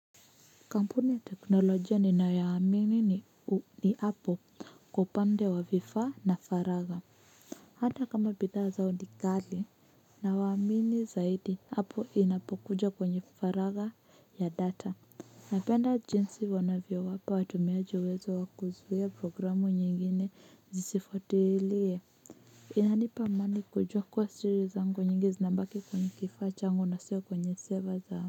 Kampuni ya teknolojia ninayoamini ni apple kwa upande wa vifaa na faragha hata kama bidhaa zao ni ghali nawaamini zaidi apple inapokuja kwenye faragha ya data napenda jinsi wanavyowapa watumiaji uwezo wa kuzuia programu nyingine zisifutilie inanipa amani kujua kuwa siri zangu nyingi zinabaki kwenye kifaa changu na siyo kwenye server zao.